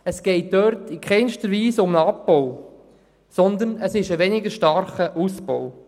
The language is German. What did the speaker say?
Es geht bei dieser Massnahme in keiner Weise um einen Abbau, sondern um einen weniger starken Ausbau.